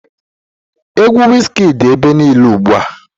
Egwu Wizkid dị ebe niile ugbu a.